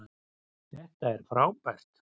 Þetta er frábært